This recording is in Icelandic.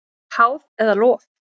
Háð eða lof?